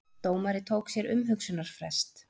Dómari tók sér umhugsunarfrest